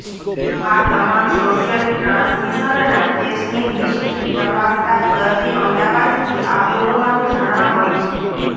આ તમામ સોશિયલ ટ્રાન્સમિશનના કેસની હિસ્ટ્રી તપાસતા દર્દી અમદાવાદથી આવ્યો હોવાનું જાણવા મળ્યું છે